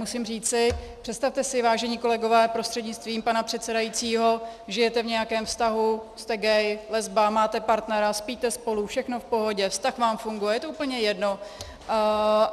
Musím říci, představte si, vážení kolegové prostřednictvím pana předsedajícího, žijete v nějakém vztahu, jste gay, lesba, máte partnera, spíte spolu, všechno v pohodě, vztah vám funguje, je to úplně jedno.